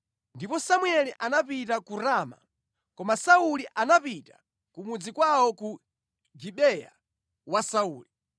Ndipo Samueli anapita ku Rama, koma Sauli anapita ku mudzi kwawo ku Gibeya wa Sauli.